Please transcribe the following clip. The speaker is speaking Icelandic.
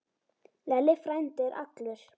Lalli frændi er allur.